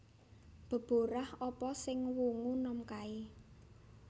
Deborah apa sing wungu nom kae?